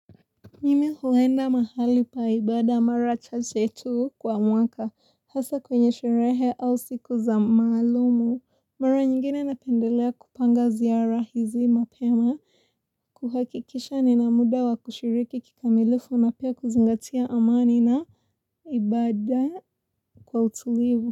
Mimi huenda mahali pa ibada mara chache tu kwa mwaka hasa kwenye sherehe au siku za maalumu. Mara nyingine napendelea kupanga ziara hizi mapema. Kuhakikisha nina mda wa kushiriki kikamilifu na pia kuzingatia amani na ibada kwa utulivu.